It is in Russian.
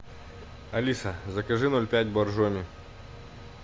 алиса закажи ноль пять боржоми